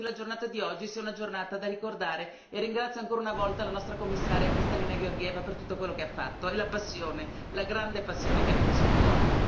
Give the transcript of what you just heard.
Credo che la giornata di oggi sia una giornata da ricordare e ringrazio ancora una volta il Commissario Kristalina Georgieva per tutto quello che ha fatto e la passione, la grande passione che ha messo, il cuore.